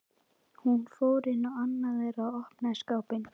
Hún fór inn í annað þeirra og opnaði skápinn.